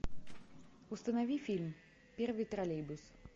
установи фильм первый троллейбус